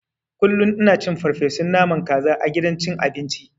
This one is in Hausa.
Kullun ina cin farfeson naman kaza a gidan cin abinci.